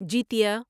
جیتیہ